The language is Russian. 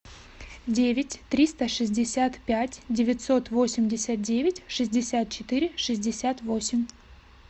девять триста шестьдесят пять девятьсот восемьдесят девять шестьдесят четыре шестьдесят восемь